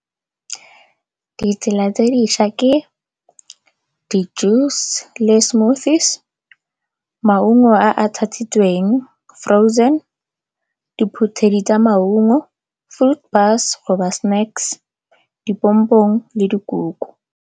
Ditsela tse dišwa ke di-juice le smoothies. Maungo a a tshatshitsweng frozen, diphuthedi tsa maungo, fruit bars go ba snacks, dipompong le dikuku.